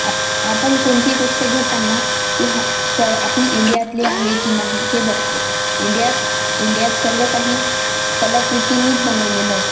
आप आपण कोणतीही गोष्ट घेताना ती हा स्व आपली इंडिया तली आहे की नाही हे बघतो इंडिया त इंडिया त सर्व काही कलाकृतींनीच बनवलेले अस--